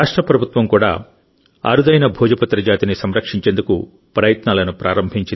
రాష్ట్ర ప్రభుత్వం కూడా అరుదైన భోజపత్ర జాతిని సంరక్షించేందుకు ప్రయత్నాలను ప్రారంభించింది